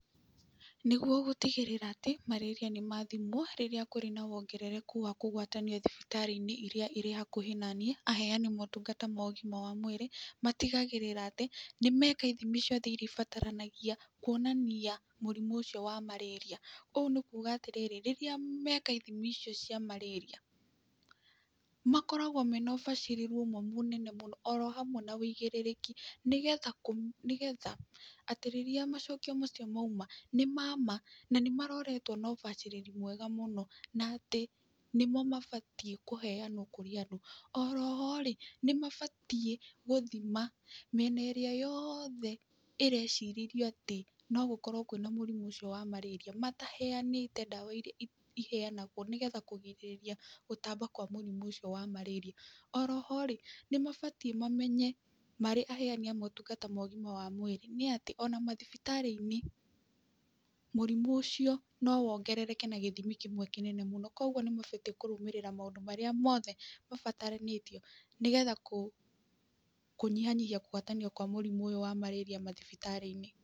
Nĩguo gũtigĩrĩra atĩ marĩria nĩ mathimwo rĩrĩa kũrĩ na wongerereku wa kũgwatanio thibitarĩ-inĩ iria irĩ hakuhĩ na niĩ, aheani motungata mogima wa mwĩrĩ, matigagĩrĩra atĩ nĩ meka ithimi ciothe iria ibataranagia kuonania mũrimũ ũcio wa marĩria, ũũ nĩ kuga atĩrĩrĩ, rĩrĩa meka ithimi icio cia marĩria, makoragwo mena ũbacĩrĩru ũmwe mũnene mũno, oro hamwe na wĩigĩrĩrĩki, nĩ getha kũme nĩ getha atĩ rĩrĩa macokio macio maima, nĩ mama na nĩ maroretwo na ũbacĩrĩri mwega mũno, na atĩ nĩmo mabatiĩ kũheyanwo kũrĩ andũ, orohorĩ nĩ mabatiĩ gũthima mĩena ĩrĩa yoothe ĩrecirĩrio atĩ nogũkorwo kwĩna mũrimũ ũcio wa marĩria, mataheyanĩte ndawa iria iheyanagwo nĩ getha kũgirĩrĩria gũtamba kwa mũrimũ ũcio wa marĩria, orohorĩ nĩ mabatiĩ mamenye marĩ aheani a mũtungata ma ũgima wa mwĩrĩ, nĩ atĩ ona mathibitarĩ-inĩ, mũrimũ ũcio no wongerereke na gĩthimi kĩmwe kĩnene mũno, kwoguo nĩ mabatiĩ kũrũmĩrĩra maũndũ marĩa mothe mabataranĩtio nĩ getha kũ kũnyihanyihia kũgwatanio kwa mũrimũ ũyũ wa marĩria mathibitarĩ-inĩ.